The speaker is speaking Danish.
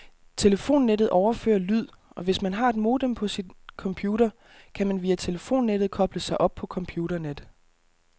Telefonnettet overfører lyd, og hvis man har et modem på sin computer, kan man via telefonnettet koble sig op på computernet.